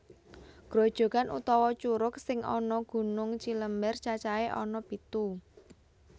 Grojokan utawa curug sing ana Gunung Cilember cacahé ana pitu